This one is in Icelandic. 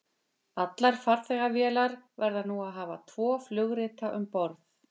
Allar farþegavélar verða nú að hafa tvo flugrita um borð.